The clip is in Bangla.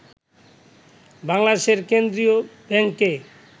বাংলাদেশের কেন্দ্রীয় ব্যাংকে